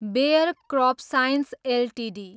bare crop science Ltd